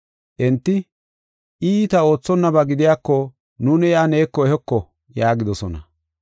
Enti, “I iita oothonnaba gidiyako nuuni iya neeko ehoko” yaagidosona.